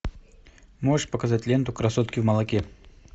можешь показать ленту красотки в молоке